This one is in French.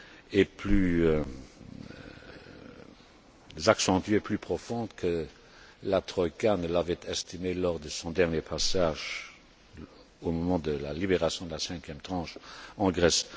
y est plus accentuée et plus profonde que la troïka ne l'avait estimé lors de son dernier passage, au moment de la libération de la cinquième tranche en Grèce.